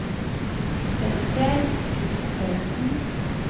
Reduser skriftstørrelsen